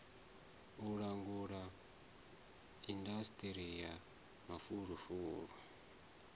u langula indasiṱiri ya mafulufulu